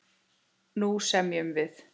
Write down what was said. Nú semjum við!